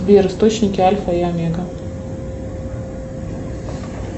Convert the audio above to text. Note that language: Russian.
сбер источники альфа и омега